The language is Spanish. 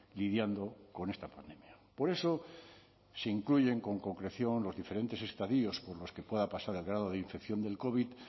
lidiando con esta pandemia por eso se incluyen con concreción los diferentes estadios por los que pueda pasar el grado de infección del covid